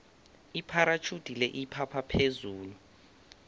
ipharatjhudi le iphapha phezulu